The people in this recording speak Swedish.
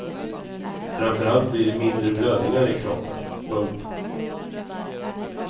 Framför allt blir det mindre blödningar i kroppen. punkt